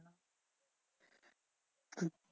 হম